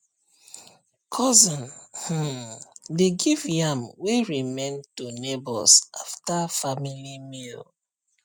cousin um dey give yam wey remain to neighbours after family meal